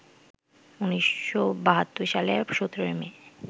১৯৭২ সালের ১৭ই মে